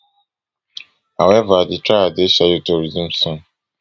however di trial dey scheduled to resume soon